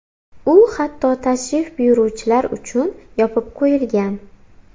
U hatto tashrif buyuruvchilar uchun yopib qo‘yilgan.